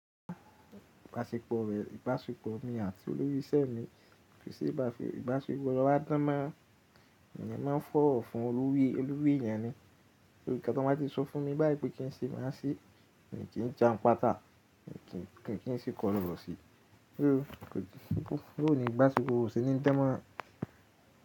Ìbáṣepọ̀ rẹ̀, ìbáṣepọ̀ mi àti olórí iṣẹ́ mi, ìbáṣepọ̀ wa dánmọrán, èmi máa ń fọ̀wọ̀ fún olórí, olórí èèyàn ni, so nnkan tó bá ti sọ fún mi báyìí pé kí n ṣe má se mi kí n ja n pátá, mi kí n se kọ́lọwosi kò tíì sí, bó ni ìbáṣepọ̀ wa o se ní danmoran.